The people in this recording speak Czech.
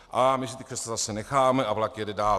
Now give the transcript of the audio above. A my si ta křesla zase necháme a vlak jede dál.